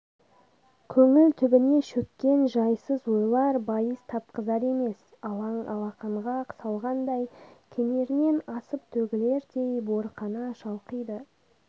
көңіл түбіне шөккен жайсыз ойлар байыз тапқызар емес алаң алақанға салғандай кенерінен асып төгілердей буырқана шалқиды